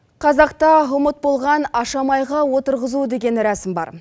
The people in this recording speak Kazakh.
қазақта ұмыт болған ашамайға отырғызу деген рәсім бар